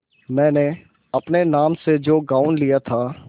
मैंने अपने नाम से जो गॉँव लिया था